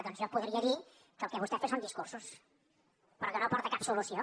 doncs jo podria dir que el que vostè fa són discursos però que no aporta cap solució